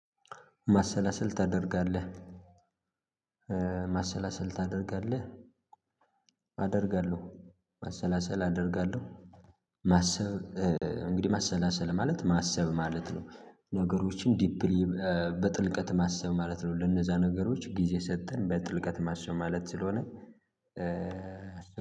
ማሰላሰል ታደርጋለህ? ማሰላሰል ታደርጋለህ። አደርጋለሁ ማሰላሰል አደርጋለሁ። ማሰብ እንግዲህ ማሰላሰል ማለት ማሰብ ማለት ነው። ነገሮችን በጥልቀት ማሰብ ማለት ነው። ለነዛ ነገሮች ጊዜ ሰጥተን በጥልቀት ማሰው ማለት ስለሆነ